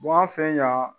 an fɛ yan